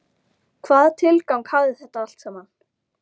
Hvaða tilgang hafði þetta allt saman?